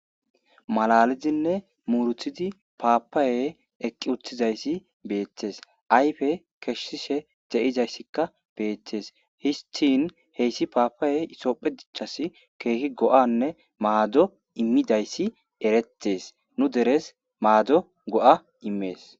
Malalidinne muurutidi paapayey eqqi uttidaysi beettes. Ayfe kessishe de'izayssika beettes. Histin hessi paapayeyi isophphe dichchaas keehi go'anne maado immidayssi erettees. Nu deres maado go'a immees.